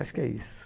Acho que é isso.